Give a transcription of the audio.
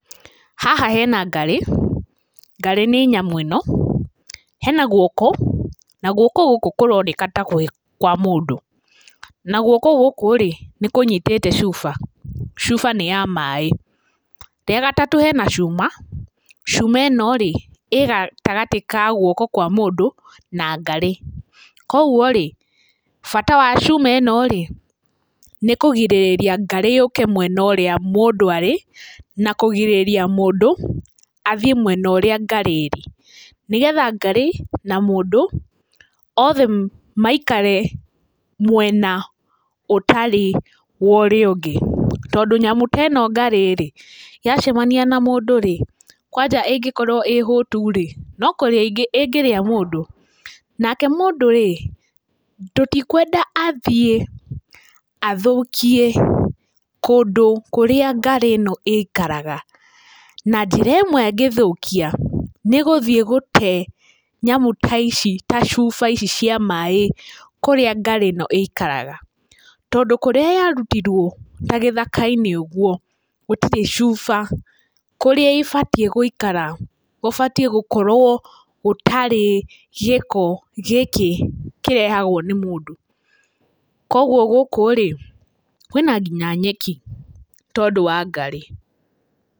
Haha hena Ngarĩ, ngarĩ nĩ nyamũ ĩno. Hena guoko na guoko gũkũ kũroneka nĩ kwa mũndũ na guoko gũkũ nĩ kũnyitĩte cuba, cuba nĩ ya maĩ. Rĩa gatatũ hena cuma, cuma ĩno rĩ ĩgatagatĩ ka guoko kwa mũndũ na ngarĩ. Koguo rĩ bata wa cuma ĩno rĩ nĩkũgirĩria ngarĩ yũke mwena ũrĩa mũndũ arĩ na kũgirĩrĩria mũndũ athiĩ mwena ũrĩa Ngarĩ ĩrĩ, nĩgetha ngarĩ na mũndũ othe maikare mwena ũtarĩ worĩa ũngĩ. Tondũ nyamũ ta ĩno ngarĩ yacemania na mũndũ rĩ kwanja ĩngĩkorwo ĩhũtu rĩ nokũrĩa ĩngĩrĩa mũndũ. Nake mũndũ rĩ tũtikwenda athiĩ athokie kũndũ kũrĩa ngarĩ ĩno ĩikaraga na njĩra ĩmwe angĩthũkia nĩ gũthiĩ gũte nyamũ ta ici ta cuba ici cia maĩ kũrĩa ngarĩ ĩno ĩikaraga tondũ, kũrĩa yarutirwo ta gĩthaka -inĩ ũguo gũtirĩ cuba kũrĩa ĩbatiĩ gũikara gũbatiĩ gukorwo gũtarĩ gĩko gĩkĩ kĩrehagwo nĩ mũndũ. Kwoguo gũkũ rĩ kwĩna kinya nyeki tondũ wa ngarĩ.